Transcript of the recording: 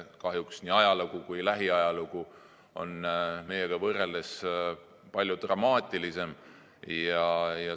Kahjuks on nende nii ajalugu kui ka lähiajalugu meie omaga võrreldes palju dramaatilisem.